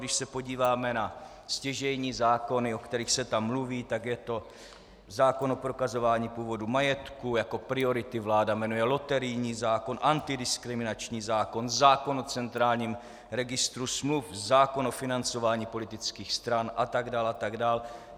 Když se podíváme na stěžejní zákony, o kterých se tam mluví, tak je to zákon o prokazování původu majetku, jako priority vláda jmenuje loterijní zákon, antidiskriminační zákon, zákon o centrálním registru smluv, zákon o financování politických stran a tak dál a tak dál.